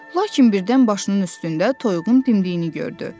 Lakin birdən başının üstündə toyuğun dimdiyini gördü.